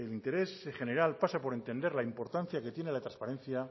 interés general pasa por entender la importancia que tiene la transparencia